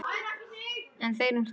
En þeir um það.